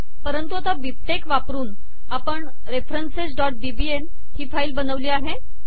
परंतु आता बिबटेक्स वापरुन आपण referencesबीबीएल ही फाईल बनवली आहे